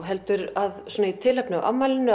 heldur að í tilefni af afmælinu